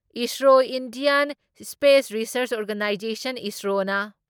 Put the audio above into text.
ISRO Indian space research organisation ISRO ꯅ